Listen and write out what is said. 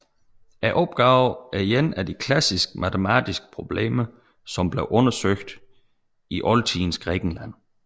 Opgaven er et af de klassiske matematiske problemer som blev undersøgt i oldtidens Grækenland